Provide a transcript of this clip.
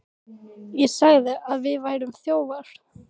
ÉG SAGÐI AÐ ÞIÐ VÆRUÐ ÞJÓFAR.